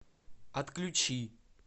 отключи